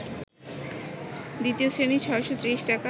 দ্বিতীয় শ্রেণী ৬৩০ টাকা